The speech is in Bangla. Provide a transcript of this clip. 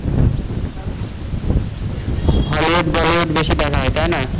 হলিউড বলিউড বেশি দেখা হয় তাই না?